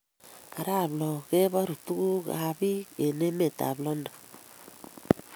Arap loo kebaru tuguk kab biik eng emetab London